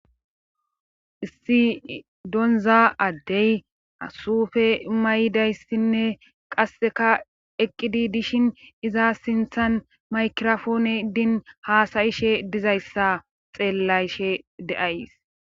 Issi donza addey asufe may7dayssinne qasseka eqqidi dishin iza sinthan maykirofoone iddin haasayishe dizayssa xeellayshe deays